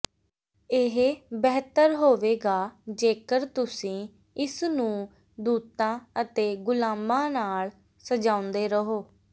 ਇਹ ਬਿਹਤਰ ਹੋਵੇਗਾ ਜੇਕਰ ਤੁਸੀਂ ਇਸ ਨੂੰ ਦੂਤਾਂ ਅਤੇ ਗੁਲਾਮਾਂ ਨਾਲ ਸਜਾਉਂਦੇ ਰਹੋ